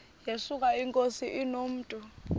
yesuka inkosi inomntu